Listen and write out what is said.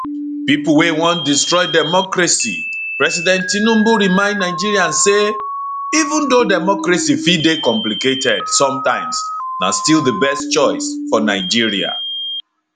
pipo wey wan destroy democracy president tinubu remind nigerians say even though democracy fit dey complicated sometimes na still di best choice for nigeria